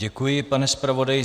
Děkuji, pane zpravodaji.